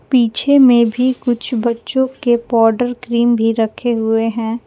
पीछे में भी कुछ बच्चों के पाउडर क्रीम भी रखे हुए हैं।